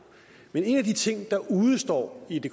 men en af de ting der udestår i det